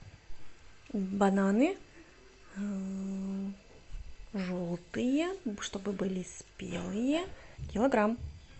бананы желтые чтобы были спелые килограмм